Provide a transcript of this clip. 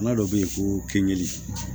Bana dɔ bɛ yen ko kinni